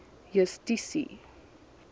justisie